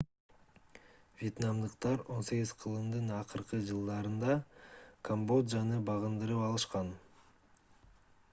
вьетнамдыктар 18-кылымдын акыркы жылдарында камбоджаны багындырып алышкан